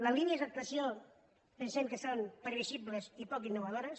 les línies d’actuació pensem que són previsi·bles i poc innovadores